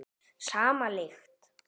Sama lykt.